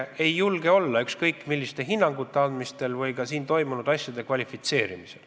Ma ei julge anda ükskõik milliseid hinnanguid ega toimunut kvalifitseerida.